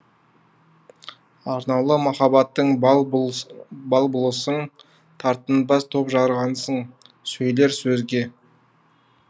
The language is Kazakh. арнаулы махаббаттың бал бұлысың тартынбас топ жарғансың сөйлер сөзге